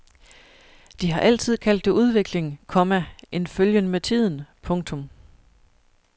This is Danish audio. De har altid kaldt det udvikling, komma en følgen med tiden. punktum